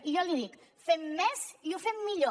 i jo li dic fem més i ho fem millor